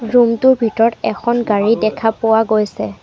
Room টোৰ ভিতৰত এখন গাড়ী দেখা পোৱা গৈছে।